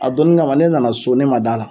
a donni kama ne nana so ne ma d'a la.